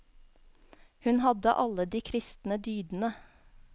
Hun hadde alle de kristne dydene.